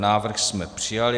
Návrh jsme přijali.